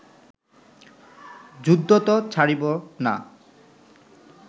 যুদ্ধ ত ছাড়িব না